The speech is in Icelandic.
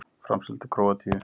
Framseldur til Króatíu